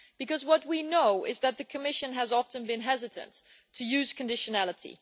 Because what we know is that the Commission has often been hesitant to use conditionality.